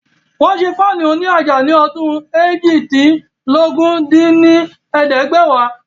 Wọ́n ṣé Fáànù òní àjà ní ọdún eéjìdínlógún dín ní ẹ̀ẹ́dẹ́gbẹ́wá